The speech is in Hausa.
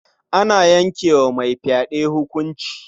Ana yanke wa mai fyaɗe hukunci.